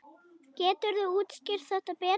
Geturðu útskýrt þetta betur?